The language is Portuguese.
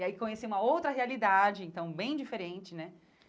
E aí conheci uma outra realidade, então bem diferente né.